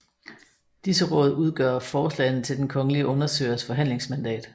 Disse råd udgør forslagene til den kongelige undersøgers forhandlingsmandat